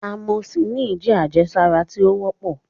Amoxicillin jẹ́ àjẹsára tí ó wọ́pọ̀